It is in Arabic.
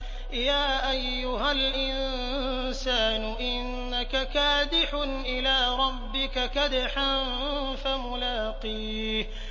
يَا أَيُّهَا الْإِنسَانُ إِنَّكَ كَادِحٌ إِلَىٰ رَبِّكَ كَدْحًا فَمُلَاقِيهِ